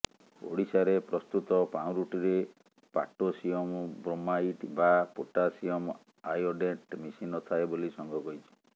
ଓଡିଶାରେ ପ୍ରସ୍ତୁତ ପାଉଁରୁଟିରେ ପାଟୋସିଅମ ବ୍ରୋମାଇଟ ବା ପୋଟାସିଅମ ଆୟୋଡେଟ୍ ମିଶି ନଥାଏ ବୋଲି ସଂଘ କହିଛି